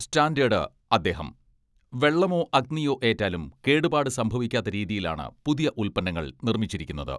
Standard അദ്ദേഹം വെള്ളമോ അഗ്നിയോ ഏറ്റാലും കേടുപാട് സംഭവിക്കാത്ത രീതിയിലാണ് പുതിയ ഉൽപ്പന്നങ്ങൾ നിർമ്മിച്ചിരിക്കുന്നത്.